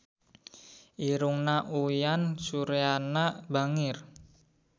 Irungna Uyan Suryana bangir